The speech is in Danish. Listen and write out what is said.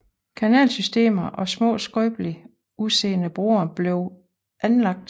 Kanalsystemer og små skrøbeligt udseende broer blev anlagt